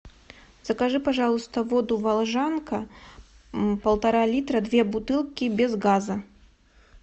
закажи пожалуйста воду волжанка полтора литра две бутылки без газа